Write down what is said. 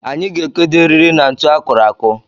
Anyị ga-ekedo eriri na ntụ akụrụ akụ